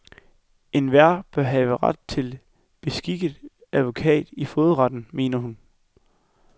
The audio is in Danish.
Enhver bør have ret til beskikket advokat i fogedretten, mener hun.